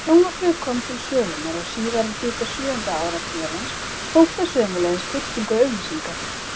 Þegar sjónvarpið kom til sögunnar á síðari hluta sjöunda áratugarins hóf það sömuleiðis birtingu auglýsinga.